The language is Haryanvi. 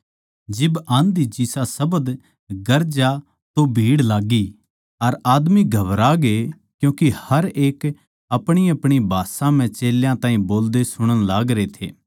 जिब आँधी जिसा शब्द गरजा तो भीड़ लाग्गी अर आदमी घबरागे क्यूँके हर एक अपणीअपणी भाषा म्ह चेल्यां ताहीं बोलदे सुणण लागरे थे